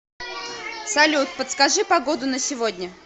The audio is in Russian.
салют подскажи погоду на сегодня